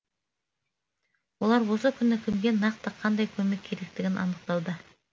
олар осы күні кімге нақты қандай көмек керектігін анықтауда